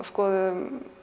skoðuðum